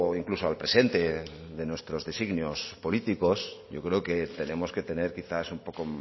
incluso al presente de nuestros designios políticos yo creo que tenemos que tener quizás un poco